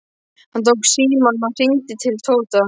Hann tók símann og hringdi til Tóta.